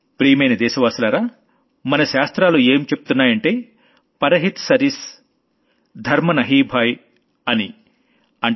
ప్రియమైన దేశవాసులారా మన శాస్త్రాలు ఏం చెబుతున్నాయంటే పరహిత్ సరిస్ ధర్మ నహీ భాయీ అని చెబుతున్నాయి